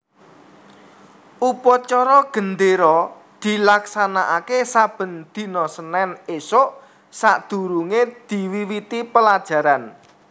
Upacara gendéra dilaksanakaké saben dina Senin ésuk sadurungé diwiwiti pelajaran